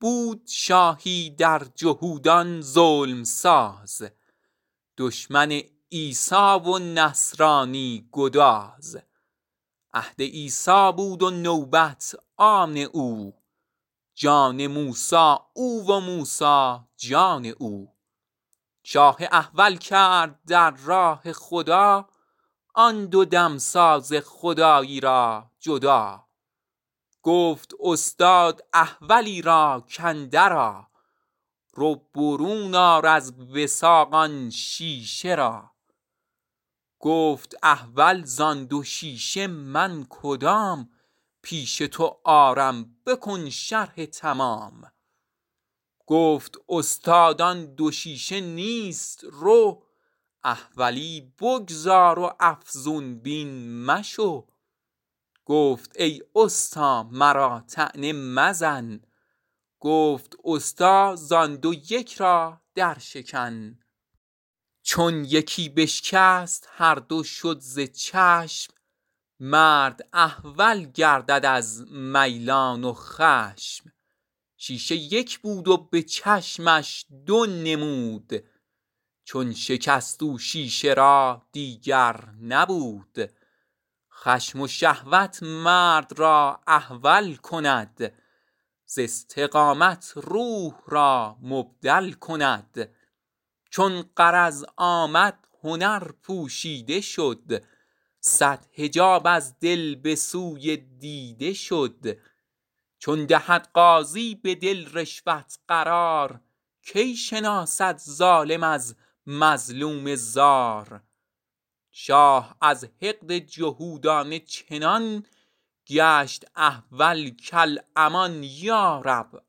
بود شاهی در جهودان ظلم ساز دشمن عیسی و نصرانی گداز عهد عیسی بود و نوبت آن او جان موسی او و موسی جان او شاه احول کرد در راه خدا آن دو دمساز خدایی را جدا گفت استاد احولی را کاندر آ رو برون آر از وثاق آن شیشه را گفت احول زان دو شیشه من کدام پیش تو آرم بکن شرح تمام گفت استاد آن دو شیشه نیست رو احولی بگذار و افزون بین مشو گفت ای استا مرا طعنه مزن گفت استا زان دو یک را در شکن چون یکی بشکست هر دو شد ز چشم مرد احول گردد از میلان و خشم شیشه یک بود و به چشمش دو نمود چون شکست او شیشه را دیگر نبود خشم و شهوت مرد را احول کند ز استقامت روح را مبدل کند چون غرض آمد هنر پوشیده شد صد حجاب از دل به سوی دیده شد چون دهد قاضی به دل رشوت قرار کی شناسد ظالم از مظلوم زار شاه از حقد جهودانه چنان گشت احول کالامان یا رب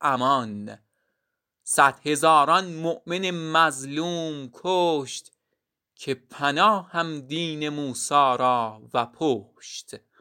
امان صد هزاران مؤمن مظلوم کشت که پناهم دین موسی را و پشت